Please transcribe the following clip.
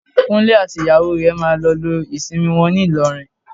Kúnlé àti ìyàwó rẹ̀ máa lọ lo ìsinmi wọn ní Ìlọrin